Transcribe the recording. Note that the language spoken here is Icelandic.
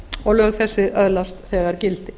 og lög þessi öðlast þegar gildi